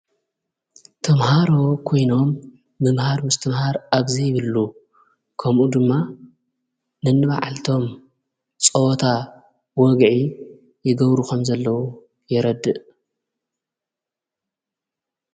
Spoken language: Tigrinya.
ተምሃሮ ኮይኖም ምምሃር ሙስ ተ ምሃር ኣብዘይ ይብሉ ከምኡ ድማ ንንባዓልቶም ጸወታ ወግዒ ይገብሩኸም ዘለዉ የረድእ።